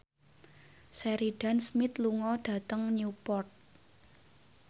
Sheridan Smith lunga dhateng Newport